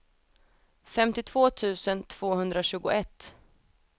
femtiotvå tusen tvåhundratjugoett